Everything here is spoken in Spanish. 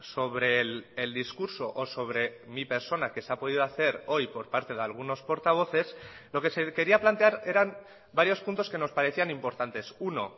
sobre el discurso o sobre mi persona que se ha podido hacer hoy por parte de algunos portavoces lo que se quería plantear eran varios puntos que nos parecían importantes uno